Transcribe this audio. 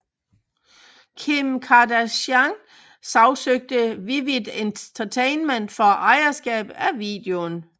Kim Kardashian sagsøgte Vivid Entertainment for ejerskab af videoen